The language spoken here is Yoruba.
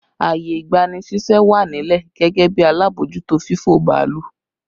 Ààyè ìgbani ṣíṣẹ́ wà nílẹ̀ gẹ́gẹ́ bí alábòójútó fífò bàálù